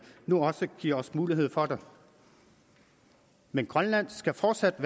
nu også giver os mulighed for det men grønland skal fortsat